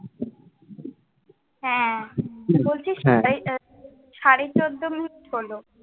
হ্যাঁ, তুই বলছিস, সাড়ে সাড়ে চোদ্দো মিনিট হলো।